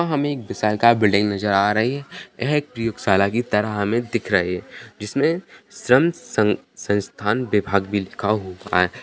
यहाँ हमे एक विशालकाय बिल्डिंग नजर आ रही है यह एक प्रयोगशाला की तरह हमे दिख रही है जिसमें सं सं संस्थान विभाग भी लिखा हुआ है ।